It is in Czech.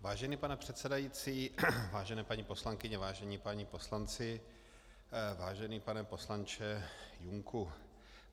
Vážený pane předsedající, vážené paní poslankyně, vážení páni poslanci, vážený pane poslanče Junku.